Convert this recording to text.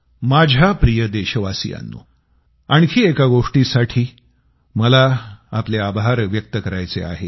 माझ्या प्रिय देशवासियांनो आणखी एका गोष्टीसाठी मला आपले आभार व्यक्त करायचे आहेत